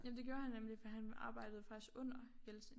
Jamen det gjorde han nemlig for han arbejdede faktisk under Jeltsin